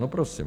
- No, prosím.